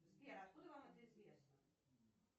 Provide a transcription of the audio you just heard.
сбер откуда вам это известно